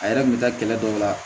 A yɛrɛ kun bɛ taa kɛlɛ dɔw la